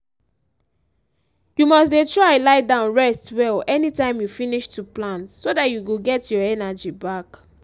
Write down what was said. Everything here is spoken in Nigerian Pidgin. you must dey try lie down rest well anytime you finish to plant so dat you go get your energy back.